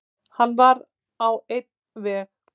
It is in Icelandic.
Hann var á einn veg.